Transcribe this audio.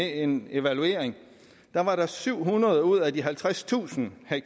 en evaluering at der var syv hundrede ud af de halvtredstusind ha